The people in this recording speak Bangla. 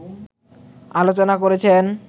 আলোচনা করেছেন